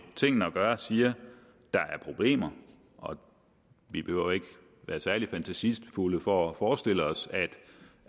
tingene at gøre siger der er problemer og vi behøver ikke at være særlig fantasifulde for at forestille os